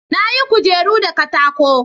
Na yi kujeru da katako